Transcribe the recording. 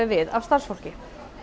við af starfsfólki